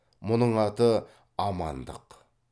мұның аты амандық